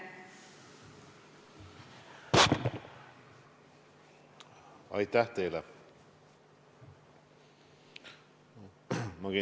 Aitäh teile!